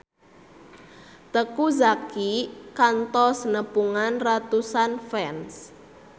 Teuku Zacky kantos nepungan ratusan fans